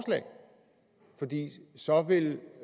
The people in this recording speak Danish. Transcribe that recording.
så vil